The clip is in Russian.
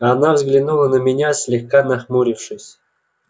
она взглянули на меня слегка нахмурившись